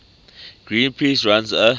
greenpeace runs a